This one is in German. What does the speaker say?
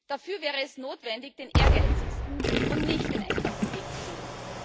Dafür wäre es notwendig, den ehrgeizigsten und nicht den einfachsten Weg zu wählen.